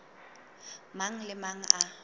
mang le a mang a